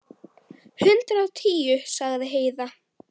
Hundrað og tíu, sagði Heiða.